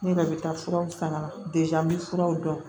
Ne yɛrɛ bɛ taa furaw san ka na n bɛ furaw dɔn